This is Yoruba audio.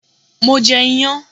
Mo je iyan